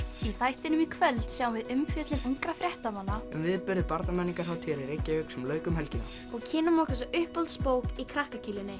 í þættinum í kvöld sjáum við umfjöllun ungra fréttamanna um viðburði Barnamenningarhátíðar í Reykjavík sem lauk um helgina og kynnum okkur svo uppáhaldsbók í krakka